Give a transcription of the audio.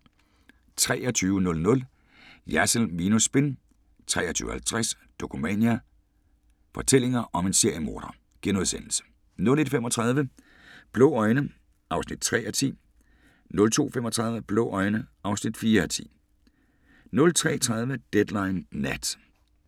23:00: Jersild minus spin 23:50: Dokumania: Fortællinger om en seriemorder * 01:35: Blå øjne (3:10) 02:35: Blå øjne (4:10) 03:30: Deadline Nat